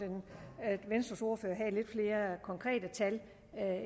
venstres ordfører havde lidt flere konkrete tal